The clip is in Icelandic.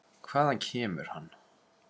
Hvaðan kemur hann?